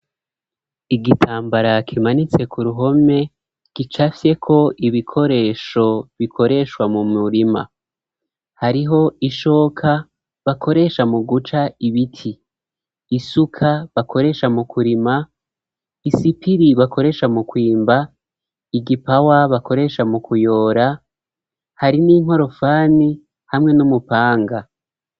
Igitambara kimanitse ku ruhome kicafye ko ibikoresho bikoreshwa mu murima hariho ishoka bakoresha mu guca ibiti, isuka bakoresha mu kurima, isipiri bakoresha mu kwimba, igipawa bakoresha mu kuyora hari n'inkorofani hamwe n'umupanga.